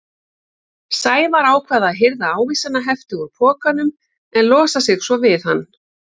Sævar ákvað að hirða ávísanahefti úr pokanum en losa sig svo við hann.